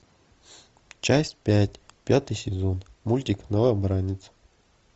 часть пять пятый сезон мультик новобранец